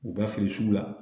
U bɛ feere sugu la